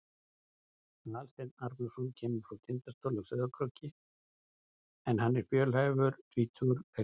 Aðalsteinn Arnarson kemur frá Tindastóli á Sauðárkróki en hann er fjölhæfur tvítugur leikmaður.